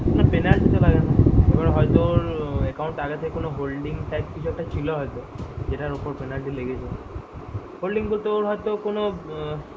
না penalty ‍ লাগে না এবার হয়ত তোর account আগে থেকেই কিছু হয়তো holding type কিছু ছিল হয়তো যেটার উপর penalty লেগেছে holding তোর হয়তো কোনো